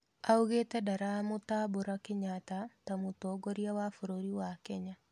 Augĩte ndaramũtambũra Kenyatta ta mũtongoria wa bũrũri wa Kenya.